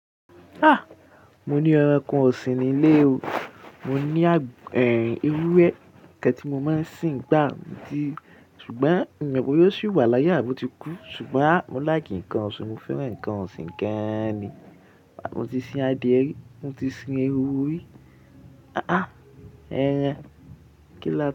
Ah! Mo ní ẹranko ọ̀sìn ní ilé o, mo ní à, ẹ, ewúrẹ́ kí ẹni tí mo máa ń sìn gbá, mo ti, ṣùgbọ́n mi ò mọ pé ó ṣì wà láyé, àbi oọ̀ ti kú. Ṣùgbọ́n mo like ǹkan ọ̀sìn, mo fẹ́ran ǹkan ọ̀sìn gan ni. Àbí mo ti sin adìẹ rí? Mo ti sin ehoro rí. Ah ah! Ehen. Kí lọ́